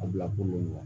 A bila kolon kɔnɔ wa